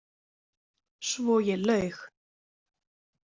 Svo ég laug.